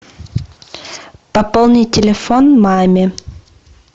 пополни телефон маме